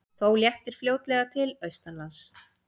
Þó léttir fljótlega til austanlands